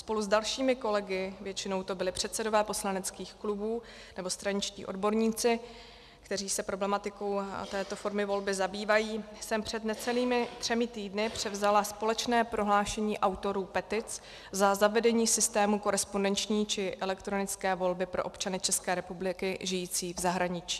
Spolu s dalšími kolegy, většinou to byli předsedové poslaneckých klubů nebo straničtí odborníci, kteří se problematikou této formy volby zabývají, jsem před necelými třemi týdny převzala společné prohlášení autorů petic za zavedení systému korespondenční či elektronické volby pro občany České republiky žijící v zahraničí.